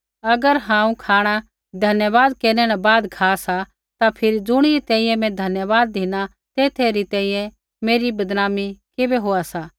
अगर हांऊँ खाँणा धन्यवाद केरनै न बाद खा सा ता फिरी ज़ुणी री तैंईंयैं मैं धन्यवाद धिना तेथा री तैंईंयैं मेरी बदनामी किबै होआ सा